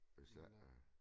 Hvis ikke øh